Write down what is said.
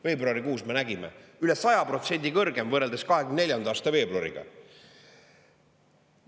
Veebruarikuus me nägime, üle 100% kõrgem võrreldes 2004. aasta veebruariga.